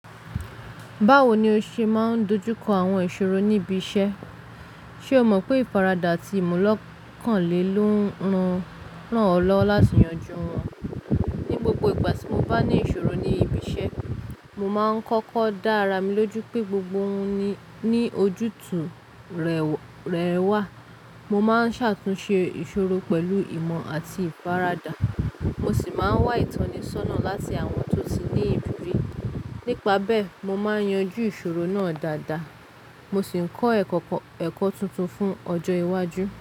Báwo ni o ṣe máa ń dojú kọ àwọn ìṣòro níbi iṣẹ́? Ṣé o mọ̀ pé ìfaradà àti ìmu lọ́kàn lè ló ń ran o lọwo láti yanjú wọn? Ni gbogbo ìgbà tí mo bá ní ìṣòro ní ibi iṣẹ́, mo máa ń kọ́kọ́ dá ara mi lójú pé gbogbo ohun ni ojútùú rẹ̀ wà. Mo máa ń ṣàtúnṣe ìṣòro pẹ̀lú ìmọ̀ àti ìfaradà. Mo sì máa ń wá ìtọ́nisọ́nà láti àwọn tó ti ní ìriri. Nípa bẹ́ẹ̀, mo máa ń yanjú ìṣòro náà dáadáa. Mo sì ń kọ́ ẹ̀kọ́ tuntun fún ọjọ́ iwájú.